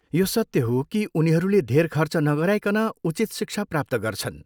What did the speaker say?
यो सत्य हो कि उनीहरूले धेर खर्च नगराइकन उचित शिक्षा प्राप्त गर्छन्।